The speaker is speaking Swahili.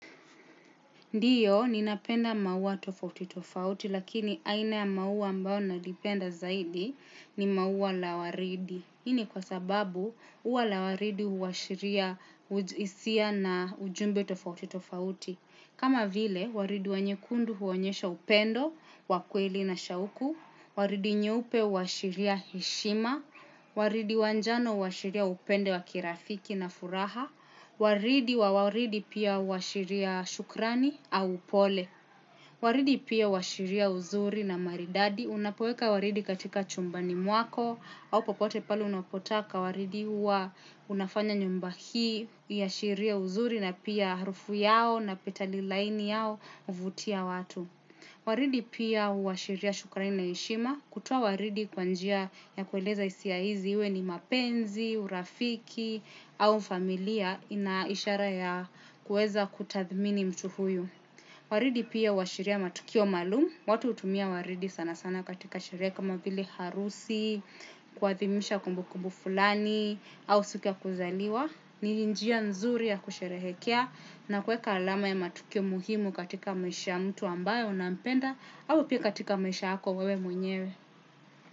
Ndiyo, ninapenda maua tofauti tofauti, lakini aina ya maua ambao nalipenda zaidi ni maua lawaridi. Hini kwa sababu, ua la waridi huwashiria hisia na ujumbe tofauti tofauti. Kama vile, waridi wa nyekundu huonyesha upendo, wakweli na shauku. Waridi nyeupe huashiria hishima. Waridi wa njano huwashiria upendo wa kirafiki na furaha. Waridi wa waridi pia huashiria shukurani au pole. Waridi pia huashiria uzuri na maridadi. Unapoeka waridi katika chumbani mwako au popote pale unapotaka waridi uwa unafanya nyumba hi. Uashiria uzuri na pia harufu yao na peta lilaini yao huvutia watu. Waridi pia uashiria shukrani na heshima. Kutoa waridi kwa njia ya kueleza hisia izi iwe ni mapenzi, urafiki au familia ya ina ishara ya kueza kutathmini mtu huyu. Waridi pia huashiria matukio malumu. Watu hutumia waridi sana sana katika sherehe kama vile harusi, kuadhimisha kumbu kumbu fulani, au siku ya kuzaliwa. Ni njia nzuri ya kusherehekea na kueka alama ya matukio muhimu katika maisha ya mtu ambae unampenda au pia katika maisha yako wewe mwenyewe.